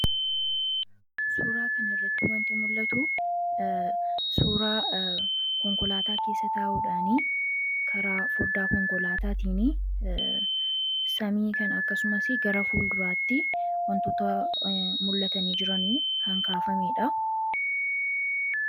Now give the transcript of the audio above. Suuraa kan irratti waanti muldhatu, suuraa konkolaataa keessa taa'uu dhaani, karaa fodda konkolaataatiin samii kan, akkasumas gara fuula duraatti wantoota mul'atanii jiran kan kaafamedha.